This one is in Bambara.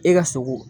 E ka sogo